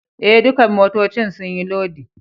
Eh, ɗukan motoccin sun yi lodi.